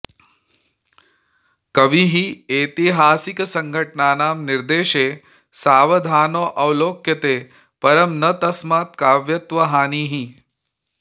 कविः ऐतिहासिकघटनानां निर्देशे सावधानोऽवलोक्यते परं न तस्मात् काव्यत्वहानिः